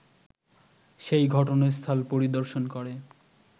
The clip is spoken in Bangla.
সেই ঘটনাস্থল পরিদর্শন করে